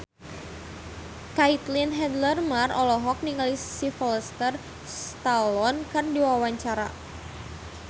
Caitlin Halderman olohok ningali Sylvester Stallone keur diwawancara